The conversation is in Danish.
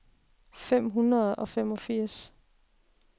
fem hundrede og femogfirs